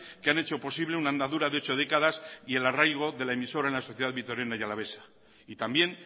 que han hecho posible una andadura de ocho décadas y el arraigo de la emisora en la sociedad vitoriana y alavesa y también